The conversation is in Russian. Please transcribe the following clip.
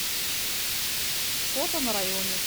фото на районе